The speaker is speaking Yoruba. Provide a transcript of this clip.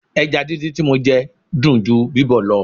Ẹja díndín tí mo jẹ dùn ju bíbọ̀ lọ.